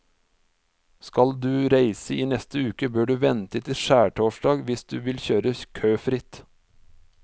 Skal du reise i neste uke, bør du vente til skjærtorsdag hvis du vil kjøre køfritt.